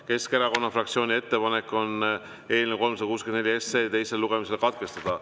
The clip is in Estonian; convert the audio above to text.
Keskerakonna fraktsiooni ettepanek on eelnõu 364 teine lugemine katkestada.